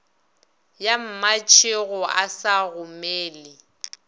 ya mmatšhego a sa gomele